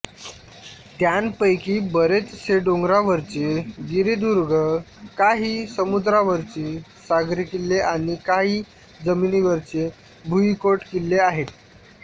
त्यांपैकी बरेचसे डोंगरावरचे गिरिदुर्ग काही समुद्रावरचे सागरी किल्ले आणि काही जमिनीवरचे भुईकोट किल्ले आहेत